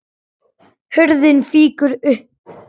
Hurðin fýkur upp.